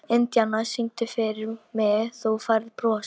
Indíana, syngdu fyrir mig „Þú Færð Bros“.